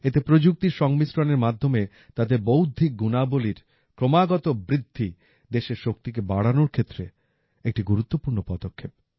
এতে প্রযুক্তির সংমিশ্রণের মাধ্যমে তাদের বৌদ্ধিক গুণাবলীর ক্রমাগত বৃদ্ধি দেশের শক্তিকে বাড়ানোর ক্ষেত্রে একটি গুরুত্বপূর্ণ পদক্ষেপ